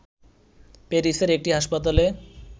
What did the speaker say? প্যারিসের একটি হাসপাতালে